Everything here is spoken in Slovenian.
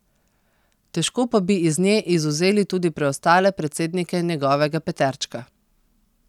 Težko pa bi iz nje izvzeli tudi preostale predsednike njegovega peterčka.